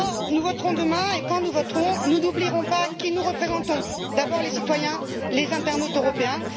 Nous voterons demain et, quand nous voterons, nous n'oublierons pas qui nous représentons d'abord les citoyens, les internautes européens.